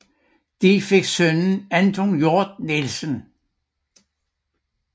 De fik sønnen Anton Hjort Nielsen